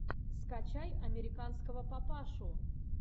скачай американского папашу